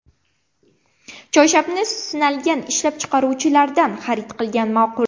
Choyshabni sinalgan ishlab chiqaruvchilardan xarid qilgan ma’qul.